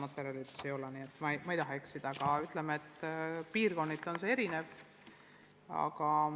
Ütleme nii, et piirkonniti on arvud erinevad.